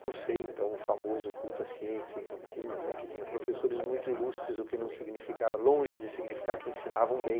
Cursei então o famoso culto à ciência em Campinas, né, que tinha professores muito ilustres, o que não significava longe de significar que ensinavam bem.